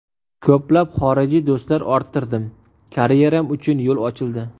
Ko‘plab xorijiy do‘stlar orttirdim, karyeram uchun yo‘l ochildi.